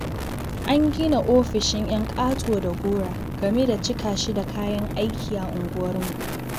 An gina ofishin 'yan ƙato da gora, gami da cika shi da kayan aiki a unguwarmu.